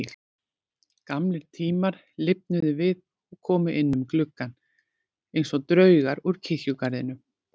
Gamlir tímar lifnuðu við og komu inn um gluggann einsog draugar úr kirkjugarðinum.